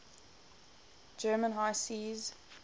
german high seas